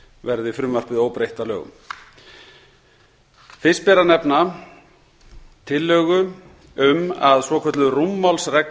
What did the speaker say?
verði frumvarpið óbreytt að lögum fyrst ber að nefna tillögu um að svokölluð rúmmálsregla